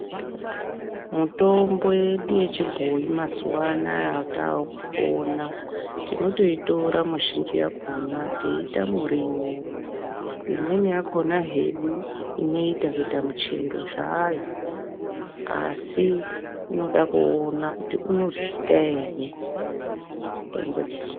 Mutombo yedu yechibhoi mazuva anaya ataakupona, tinotoitora muzhinji yakhona tinotoitora teiita muriwo, imweni yakhona hedu inoita kuita muchero zvayo asi inoda kuona kuti inoryika ere mitombo.